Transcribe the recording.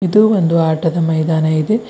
ಇದು ಒಂದು ಆಟದ ಮೈದಾನ ಇದೆ.